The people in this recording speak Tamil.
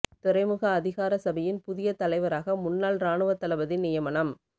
துறைமுக அதிகார சபையின் புதிய தலைவராக முன்னாள் இராணுவத் தளபதி நியமனம்